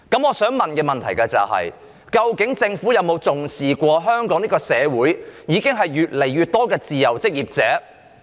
我想問的是，究竟政府有否重視香港社會越來越多的自由職業者？